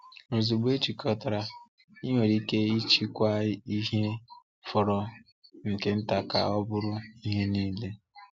Ozugbo ejikọtara, i nwere ike ịchịkwa ihe fọrọ nke nta ka ọ bụrụ ihe niile.